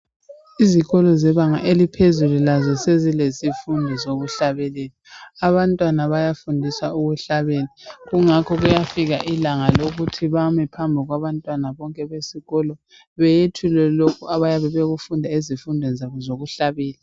izikolo zebanga laphezulu lazo zezilesifundo sokuhlabelela abantwana bayafundiswa ukuhlabela kungakho kuyafika ilanga lokuthi bame phambi kwabantwana bonke besikolo beyethule lokhu abayabe bekufunda ezifundweni zabo zokuhlabela